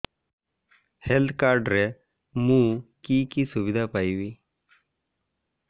health card ରେ ମୁଁ କି କି ସୁବିଧା ପାଇବି